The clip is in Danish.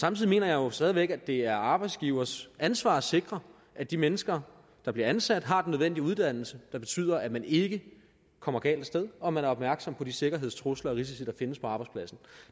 samtidig mener jeg jo stadig væk at det er arbejdsgivers ansvar at sikre at de mennesker der bliver ansat har den nødvendige uddannelse der betyder at man ikke kommer galt af sted og at man er opmærksom på de sikkerhedstrusler og risici der findes på arbejdspladsen